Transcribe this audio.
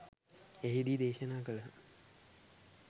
එහිදී දේශනා කළහ.